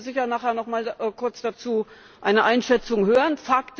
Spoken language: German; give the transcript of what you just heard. Wir werden sicher nachher nochmal kurz dazu eine Einschätzung hören.